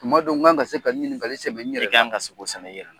Ttuma dɔw n kan ka se ka nin ɲininkali sƐmɛ n yɛrɛ la i kan ka se k'o sƐmƐ i yƐrƐ la